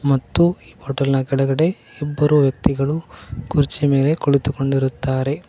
ಮತ್ತು ಹೋಟೆಲ್ ನ ಕೆಳಗಡೆ ಇಬ್ಬರು ವ್ಯಕ್ತಿಗಳು ಕುರ್ಚಿಯ ಮೇಲೆ ಕುಳಿತುಕೊಂಡಿರುತ್ತಾರೆ.